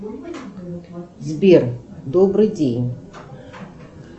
сбер добрый день